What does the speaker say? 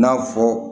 I n'a fɔ